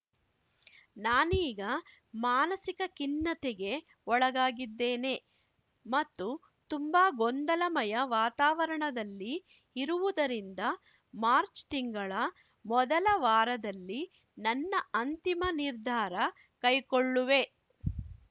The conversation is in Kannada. ನಾನೀಗ ಮಾನಸಿಕ ಖಿನ್ನತೆಗೆ ಒಳಗಾಗಿದ್ದೇನೆ ಮತ್ತು ತುಂಬಾ ಗೊಂದಲಮಯ ವಾತಾವರಣದಲ್ಲಿ ಇರುವುದರಿಂದ ಮಾರ್ಚ್ ತಿಂಗಳ ಮೊದಲ ವಾರದಲ್ಲಿ ನನ್ನ ಅಂತಿಮ ನಿರ್ಧಾರ ಕೈಕೊಳ್ಳುವೆ